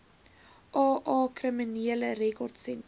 aa kriminele rekordsentrum